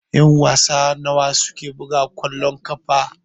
Ƴan-wasa nawa suke buga kwallon ƙafa?